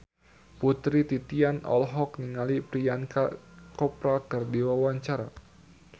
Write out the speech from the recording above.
Putri Titian olohok ningali Priyanka Chopra keur diwawancara